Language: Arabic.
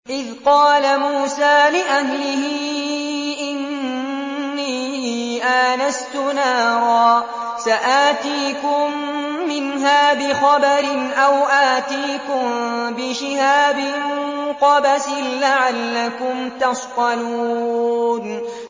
إِذْ قَالَ مُوسَىٰ لِأَهْلِهِ إِنِّي آنَسْتُ نَارًا سَآتِيكُم مِّنْهَا بِخَبَرٍ أَوْ آتِيكُم بِشِهَابٍ قَبَسٍ لَّعَلَّكُمْ تَصْطَلُونَ